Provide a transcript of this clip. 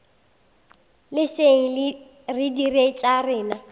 leseng re dire tša rena